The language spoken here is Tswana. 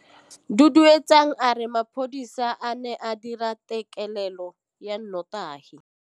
Duduetsang a re mapodisa a ne a dira têkêlêlô ya nnotagi.